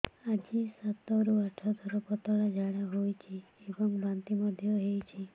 ଆଜି ସାତରୁ ଆଠ ଥର ପତଳା ଝାଡ଼ା ହୋଇଛି ଏବଂ ବାନ୍ତି ମଧ୍ୟ ହେଇଛି